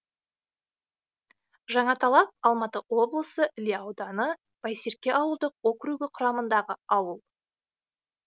жаңаталап алматы облысы іле ауданы байсерке ауылдық округі құрамындағы ауыл